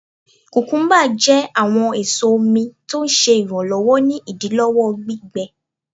kùkúḿbà jẹ awọn eso omi, tọ ń ṣe iranlọwọ ni idilọwọ gbígbẹ.